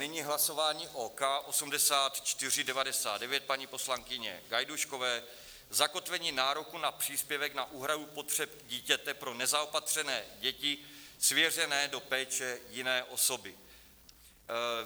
Nyní hlasování o K8499 paní poslankyně Gajdůškové, zakotvení nároku na příspěvek na úhradu potřeb dítěte pro nezaopatřené děti svěřené do péče jiné osoby.